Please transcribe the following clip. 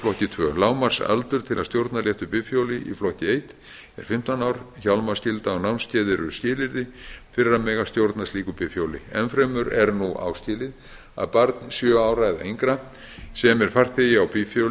flokki annars lágmarksaldur til að stjórna léttu bifhjóli í flokki eitt er fimmtán ár hjálmaskylda og námskeið eru skilyrði fyrir að mega stjórna slíku bifhjóli enn fremur er nú áskilið að barn sjö ára eða yngra sem er farþegi á bifhjóli